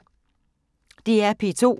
DR P2